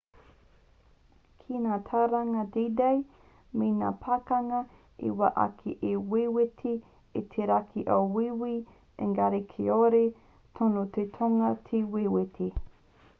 nā ngā tauranga d-day me ngā pakanga i whai ake i wewete i te raki o wīwī engari kāore tonu te tonga i te wewete